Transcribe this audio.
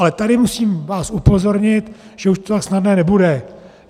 Ale tady vás musím upozornit, že už to tak snadné nebude.